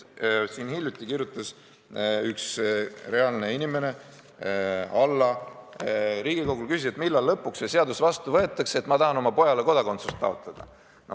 Hiljuti kirjutas üks reaalne inimene Alla Riigikogule ja küsis, millal lõpuks see seadus vastu võetakse, ta tahab oma pojale kodakondsust taotleda.